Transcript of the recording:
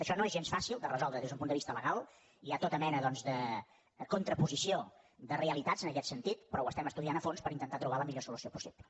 això no és gens fàcil de resoldre des d’un punt de vista legal hi ha tota mena doncs de contraposició de realitats en aquest sentit però ho estem estudiant a fons per intentar trobar la millor solució possible